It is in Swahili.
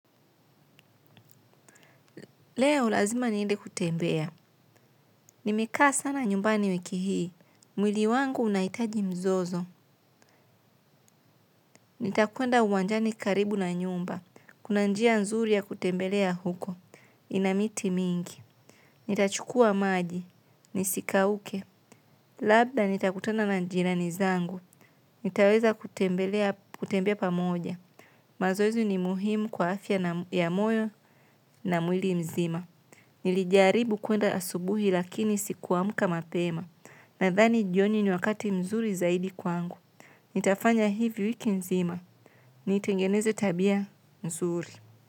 Leo, lazima niende kutembea. Nimekaa sana nyumbani wiki hii. Mwili wangu unaitaji mzozo. Nitakwenda uwanjani karibu na nyumba. Kuna njia nzuri ya kutembelea huko. Ina miti mingi. Nitachukua maji. Nisikauke. Labda nitakutana na jirani zangu. Nitaweza kutembelea kutembea pamoja. Mazoezi ni muhimu kwa afya ya moyo na mwili mzima. Nilijaribu kwenda asubuhi lakini sikuamka mapema na dhani jioni ni wakati mzuri zaidi kwangu. Nitafanya hivyo wiki nzima. Nitengeneze tabia mzuri.